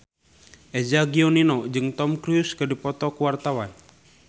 Eza Gionino jeung Tom Cruise keur dipoto ku wartawan